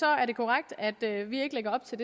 er det korrekt at vi ikke lægger op til